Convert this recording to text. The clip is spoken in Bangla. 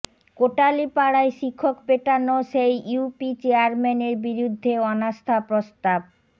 কোটালীপাড়ায় শিক্ষক পেটানো সেই ইউপি চেয়ারম্যানের বিরুদ্ধে অনাস্থা প্রস্তাব